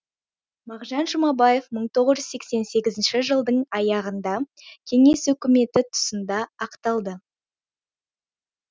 мағжан жұмабаев мың тоғыз жүз сексен сегізінші жылдың аяғында кеңес өкіметі тұсында ақталды